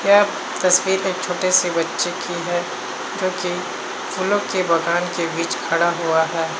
यह तस्वीर एक छोटे से बच्चे की है जोकि फूलों के बगान के बीच खड़ा हुआ है।